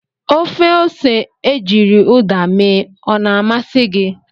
Ofe ose ejiri Uda mee o na-amasị gị?